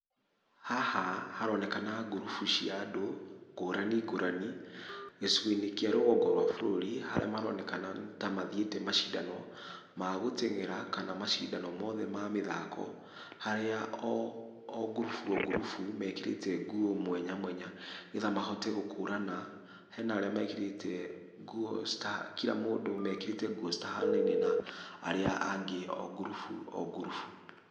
Haha haronekana ngurubu cia andũ ngũrani ngũrani, gĩcigo-inĩ kĩa rũgongo rwa bũrũri, arĩa maronekana nĩta mathiĩte macindano magũtengera, kana macindano mothe ma mathako, harĩa o ngurubu o ngurubu mekĩrĩte nguo mwanya mwanya , nĩgetha mahote gũkũrana , hena arĩa mekĩrĩte nguo cita, kira mũndũ akĩrĩte nguo cita hanaine na arĩa angĩ o ngurubu o ngurubu.